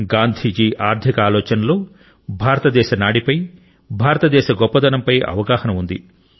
గాంధీ ఆర్ధిక ఆలోచనలో భారతదేశ నాడిపై భారతదేశ గొప్పదనంపై అవగాహన ఉంది